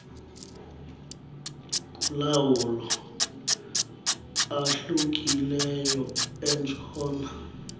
kulawo ahlukileyo entshona